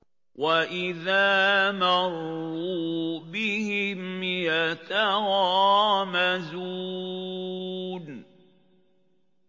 وَإِذَا مَرُّوا بِهِمْ يَتَغَامَزُونَ